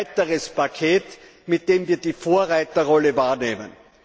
Es ist ein weiteres Paket, mit dem wir die Vorreiterrolle wahrnehmen.